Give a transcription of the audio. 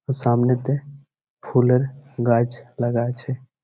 সামনেতে ফুলের গাছ লাগা আছে।